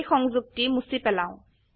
এই সংযোগটি মুছি পেলাও